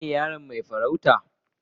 Kai ne yaron mai farauta?